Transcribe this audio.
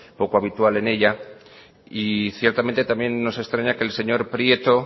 poco habitual en ella y ciertamente también nos extraña que el señor prieto